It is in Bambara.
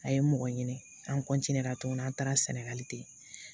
A ye mɔgɔ ɲini an tuguni an taara sɛnɛgali ten